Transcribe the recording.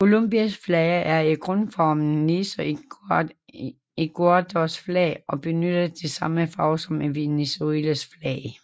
Colombias flag er i grundformen ligesom Ecuadors flag og benytter de samme farver som i Venezuelas flag